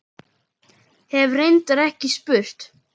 Hef reyndar ekki spurt.